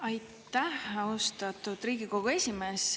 Aitäh, austatud Riigikogu esimees!